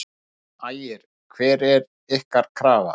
Ægir: Hver er ykkar krafa?